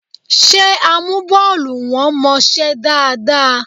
Ṣé amúbọ́ọlù wọn mọṣẹ́ dáadáa?